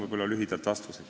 Selline on lühidalt mu vastus.